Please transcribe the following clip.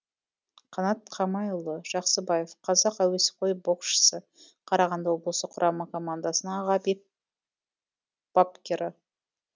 қанат қамайұлы жақсыбаев қазақ әуесқой боксшысы қарағанды облыс құрама командасының аға бапкері